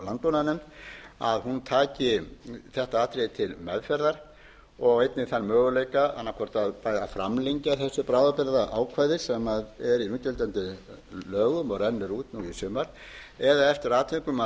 landbúnaðarnefnd að hún taki þetta atriði til meðferðar og einnig þann möguleika annað hvort að framlengja þessu bráðabirgðaákvæði sem er í núgildandi lögum og rennur út nú í sumar eða eftir atvikum að